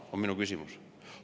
See on minu küsimus.